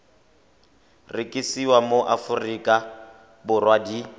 rekisiwa mo aforika borwa di